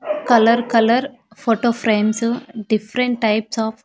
colour colour photo frames different types of --